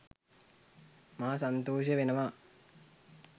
මා සන්තෝෂ වෙනවා